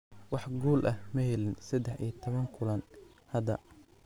Wax guul ah ma helin 13 kulan hadda.